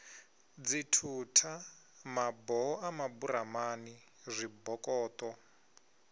dzithutha maboho a maburamani zwibokoṱo